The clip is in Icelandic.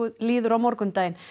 líður á morgundaginn